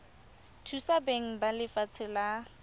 thusa beng ba lefatshe la